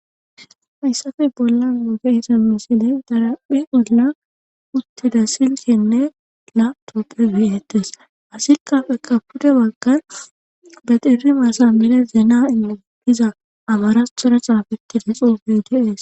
Hayssafe bolla mugeisemmesidey daraphe bolla uttida silkenne la topphe biettes asilkafeka pude baggan ba dirri maasa mile zeena inne guppiza amaras cora xaafetidi xubdes.